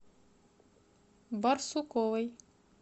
барсуковой